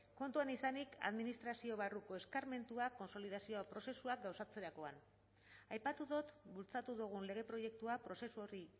kontuan izanik administrazio barruko eskarmentua kontsolidazio prozesuak gauzatzerakoan aipatu dut bultzatu dugun lege proiektua prozesu horri